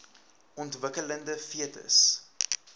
ontwikkelende fetus inhou